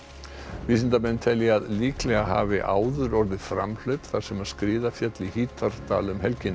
vísindamenn telja að líklega hafi áður orðið framhlaup þar sem skriða féll í Hítardal um helgina